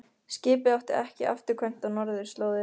Skipið átti ekki afturkvæmt á norðurslóðir.